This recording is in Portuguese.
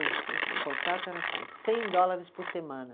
O contrato era assim, cem dólares por semana.